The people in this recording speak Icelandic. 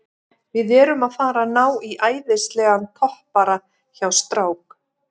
Við erum að fara að ná í æðislegan toppara hjá strák